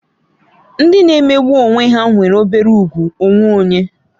Ndị na-emegbu onwe ha nwere obere ùgwù onwe onye